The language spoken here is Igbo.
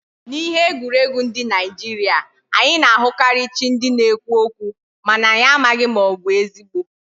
Na ihe egwuregwu ndi Nigeria, anyi na ahukari chi ndi na ekwu okwu, mana anyi amaghi ma obu ezigbo